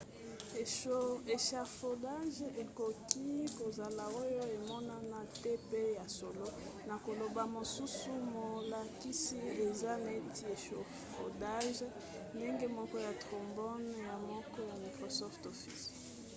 echafaudage ekoki kozala oyo emonana te mpe ya solo na koloba mosusu molakisi aza neti echafaudage ndenge moko ya trombone ya moke ya microsoft office